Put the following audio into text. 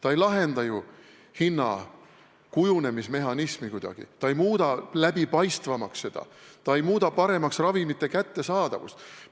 See ei lahenda ju hindade kujundamise mehhanismi kuidagi, ei muuda seda läbipaistvamaks, ei muuda paremaks ravimite kättesaadavust.